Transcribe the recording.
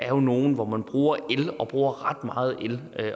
jo nogle hvor man bruger el og bruger ret meget el